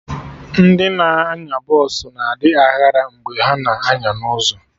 Ndị na-anya bọsụ na adị aghara mgbe ha na-anya na ụzọ